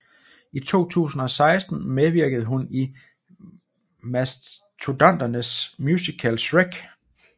I 2016 medvirkede hun i Mastodonternes musical Shrek